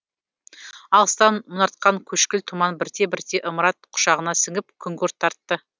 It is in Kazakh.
алыстан мұнартқан көшкіл тұман бірте бірте ымырат құшағына сіңіп күңгірт тартты